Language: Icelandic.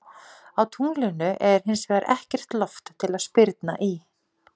Á tunglinu er hins vegar ekkert loft til að spyrna í.